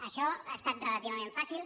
això ha estat relativament fàcil